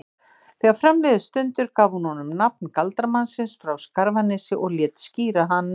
Þegar fram liðu stundir gaf hún honum nafn galdramannsins frá Skarfanesi og lét skíra hann